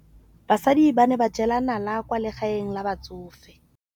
Basadi ba ne ba jela nala kwaa legaeng la batsofe.